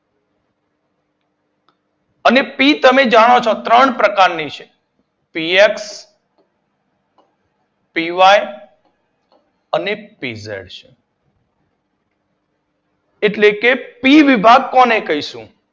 અને પી તમે જાણો છો ત્રણ પ્રકારની છે. પીએફ, પીવાય, અને પીઝેડ એટલે કે પી વિભાગ કોને કહીશું.